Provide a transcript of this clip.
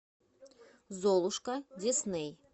золушка дисней